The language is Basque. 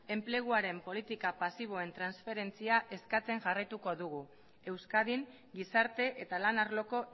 enpleguaren politika pasiboen transferentzia eskatzen jarraituko dugu euskadin gizarte eta lan arloko